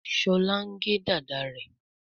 Shola ngè Dàda rẹ.